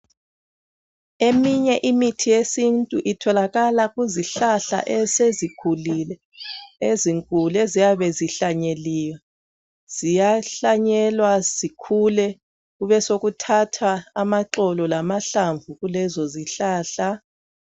Eminye imithi yesintu itholakala kuzihlahla esezikhulile ezinkulu eziyabe zihlanyeliwe. Ziyahlanyelwa zikhule kubesokuthathwa amaxolo lamahlamvu kelezozihlahla.